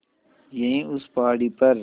यहीं उस पहाड़ी पर